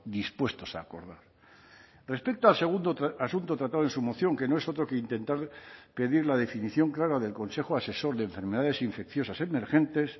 dispuestos a acordar respecto al segundo asunto tratado en su moción que no es otro que intentar pedir la definición clara del consejo asesor de enfermedades infecciosas emergentes